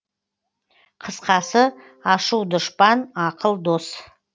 қысқасы ашу дұшпан ақыл дос